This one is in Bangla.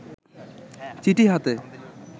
চিঠি হাতে